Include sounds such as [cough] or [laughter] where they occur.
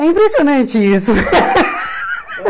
É impressionante isso. [laughs]